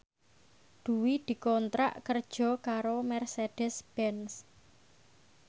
Dwi dikontrak kerja karo Mercedez Benz